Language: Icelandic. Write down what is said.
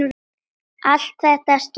Allt þetta skiptir máli.